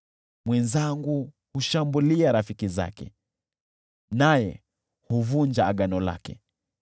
Mwenzangu hushambulia rafiki zake, naye huvunja agano lake.